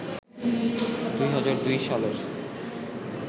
২০০২ সালের